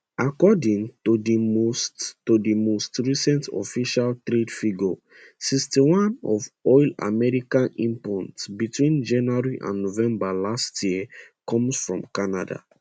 according to di most di most recent official trade figures 61 of oil america import between january and november last year come from canada